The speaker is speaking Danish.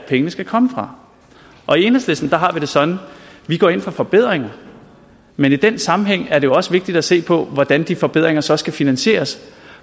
pengene skal komme fra i enhedslisten har vi det sådan at vi går ind for forbedringer men i den sammenhæng er det også vigtigt at se på hvordan de forbedringer så skal finansieres